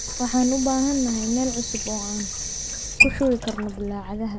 Waxaan u baahanahay meel cusub oo aan ku shubi karno bulaacadaha.